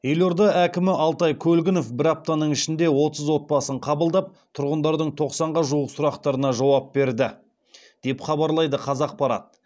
елорда әкімі алтай көлгінов бір аптаның ішінде отыз отбасын қабылдап тұрғындардың тоқсанға жуық сұрақтарына жауап берді деп хабарлайды қазақпарат